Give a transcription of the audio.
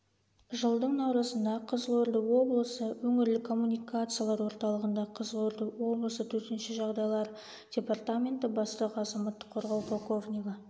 жылдың наурызында қызылорда облысы өңірлік коммуникациялар орталығында қызылорда облысы төтенше жағдайлар департаменті бастығы азаматтық қорғау полковнигі